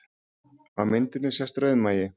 Á myndinni sést rauðmagi